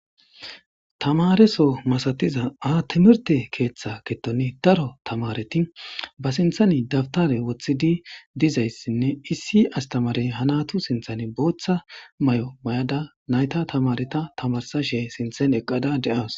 Tamareso masatiza ha timrte ketha gidon Daro tamareti ba sinthan dawutare wothidi dizaysine issi astamarey ha natu sinthan bootha mayo mayada nayta tamareta tamarsashe sinthan eqada de'awus.